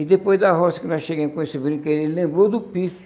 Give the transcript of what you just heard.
E depois da roça que nós chegamos com esse brinquedo, ele lembrou do pife.